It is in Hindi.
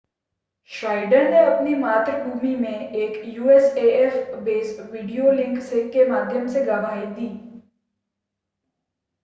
श्नाइडर ने अपनी मातृभूमि में एक usaf बेस से वीडियो लिंक के माध्यम से गवाही दी